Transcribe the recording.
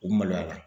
U maloya